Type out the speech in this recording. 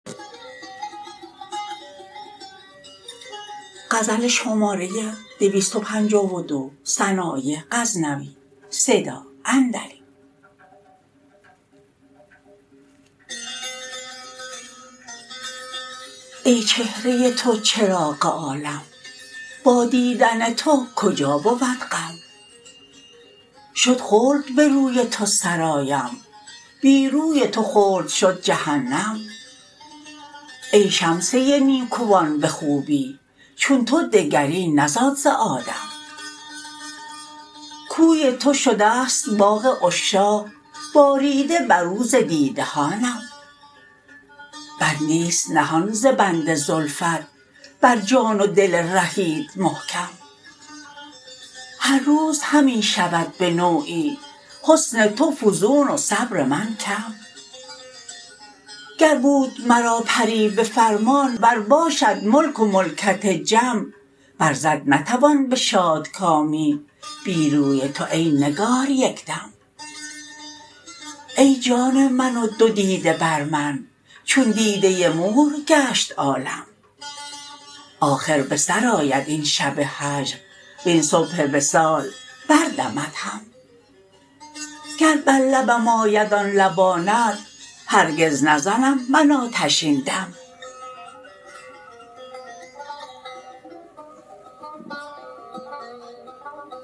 ای چهره تو چراغ عالم با دیدن تو کجا بود غم شد خلد به روی تو سرایم بی روی تو خلد شد جهنم ای شمسه نیکوان به خوبی چون تو دگری نزاد ز آدم کوی تو شدست باغ عشاق باریده بر او ز دیده هانم بندیست نهان ز بند زلفت بر جان و دل رهیت محکم هر روز همی شود به نوعی حسن تو فزون و صبر من کم گر بود مرا پری به فرمان ور باشد ملک و ملکت جم بر زد نتوان به شادکامی بی روی تو ای نگار یک دم ای جان من و دو دیده بر من چون دیده مور گشت عالم آخر به سر آید این شب هجر وین صبح وصال بردمد هم گر بر لبم آید آن لبانت هرگز نزنم من آتشین دم